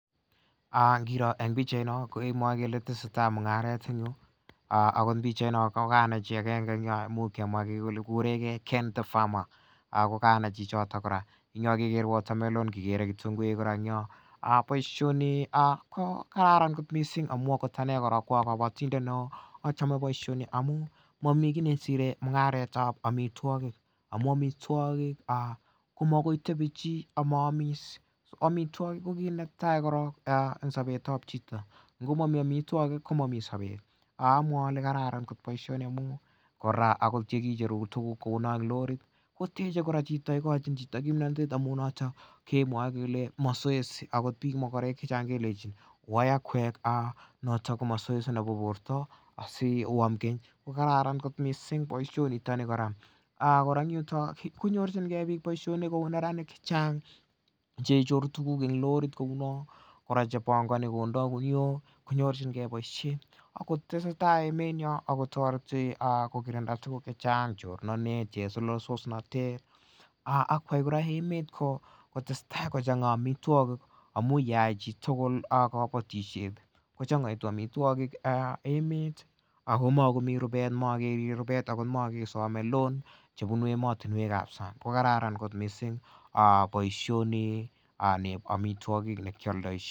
Kirooh en pichait noon. Ako pichait noon n kokanai chi agenge kemwa kele ken the farmer Ako kanai chichito kora kikere kitunguik kora en yoo boisioni ko kararan kot missing amuun akot ane ko akabatindet neo achame boision mami ki nasire mung'aret tab amituakik. Amu amituakik ko makoi kotebie chi komaamis, amituakik kit netai en sabetab chito, ngomami amituakik amwae alae kararan kot boisioni amuun akot yekicheru tuguk en lorit koteche kora ikochin chito kimnatet amu kemwae kele mazoezi noton ko mazoezi nebo borta asioam keny kokaranan kot boisioni . Kora en yuton konyorchige bik boisionik kouu neranik cheichoru tuguk en lorit kou niton chebangani konda kuniok konyorchike boisiet akotoreti akoibe emet kotesetai kochang amituakik amuun Yoon mi kabatisiet kochang amituakik Ako magomi rubet akot makesome loan kobun emetab sang kokaranan kot missing boisioni nekialdaisien